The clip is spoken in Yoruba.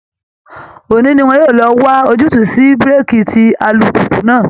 Òní ni wọn yóò lọ wá ojútùú sí búréèkì tí alùpùpù náà